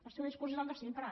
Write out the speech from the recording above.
el seu discurs és el de sempre